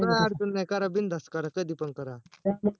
हो काही अडचण नाही करा बिंदास करा कधी पण करा